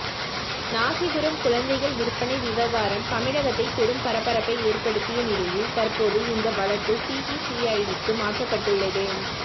ராசிபுரம் குழந்தைகள் விற்பனை விவகாரம் தமிழகத்தை பெரும் பரபரப்பை ஏற்படுத்திய நிலையில் தற்போது இந்த வழக்கு சிபிசிஐடிக்கு மாற்றப்பட்டுள்ளது